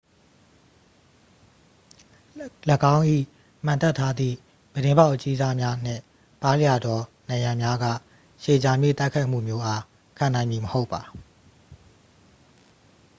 ၎င်း၏ မှန်တပ်ထားသည့် ပြတင်းပေါက်အကြီးစား များနှင့် ပါးလျသော နံရံများက ရှည်ကြာမည့်တိုက်ခိုက်မှုမျိုးအား ခံနိုင်မည် မဟုတ်ပါ